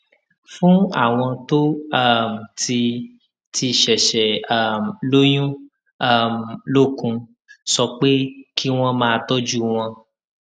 fún àwọn tó um ti ti ṣèṣè um lóyún um lókun sọ pé kí wón máa tójú wọn